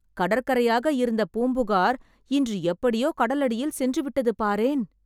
கடற்கரையாக இருந்த பூம்புகார் இன்று எப்படியோ கடல் அடியில் சென்று விட்டது, பாரேன்